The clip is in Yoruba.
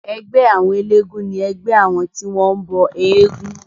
Ẹgbẹ́ àwọn elégún ni ẹgbẹ́ àwọn tí wọ́n bọ éégún.